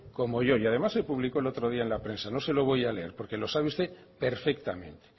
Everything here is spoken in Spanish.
como yo y además se publicó el otro día en la prensa no se lo voy a leer porque lo sabe usted perfectamente